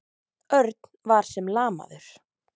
Örn var sem lamaður.